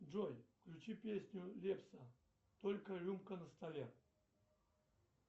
джой включи песню лепса только рюмка на столе